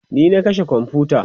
ni na kashe komfuta